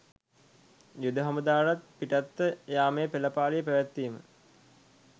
යුද හමුදාවටත් පිටත්ව යාමේ පෙළපාලිය පැවැත්වීම